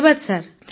ଧନ୍ୟବାଦ ସାର୍